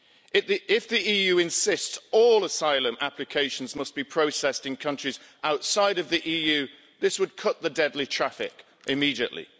If the EU were to insist that all asylum applications must be processed in countries outside of the EU, this would cut the deadly traffic immediately.